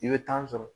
I bɛ tan sɔrɔ